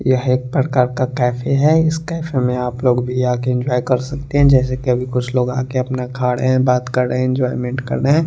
यह एक प्रकार का कैफे है इस कैफे में आप लोग भी आ के कर सकते हैं जैसे कि अभी कुछ लोग आ के अपना खा रहे हैं बात कर रहे हैं एंजॉयमेंट कर रहे हैं।